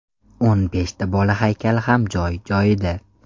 O‘n beshta bola haykali ham joy-joyida.